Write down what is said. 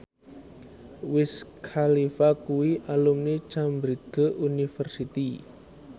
Wiz Khalifa kuwi alumni Cambridge University